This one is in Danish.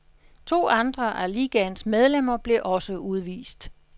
To andre af ligaens medlemmer blev også udvist.